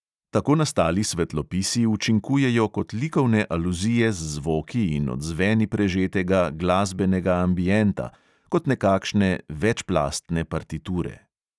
Tako nastali svetlopisi učinkujejo kot likovne aluzije z zvoki in odzveni prežetega glasbenega ambienta, kot nekakšne večplastne partiture.